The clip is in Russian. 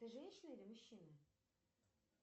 ты женщина или мужчина